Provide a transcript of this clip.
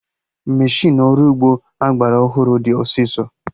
Meshịnụ ọrụ ugbo agbara ọhụrụ dị ọsịsọ